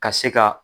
Ka se ka